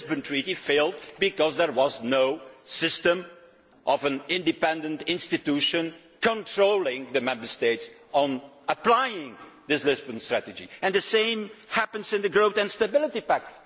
The Lisbon Strategy failed because there was no system of an independent institution controlling the Member States on applying this Lisbon Strategy. And the same applies to the Growth and Stability Pact.